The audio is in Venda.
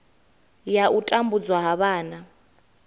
ya u tambudzwa ha vhana